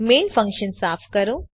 main function સાફ કરો